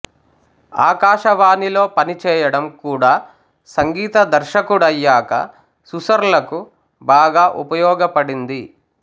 ఆకాశవాణిలో పనిచేయడం కూడా సంగీత దర్శకుడయ్యాక సుసర్లకు బాగా ఉపయోగపడింది